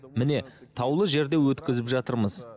міне таулы жерде өткізіп жатырмыз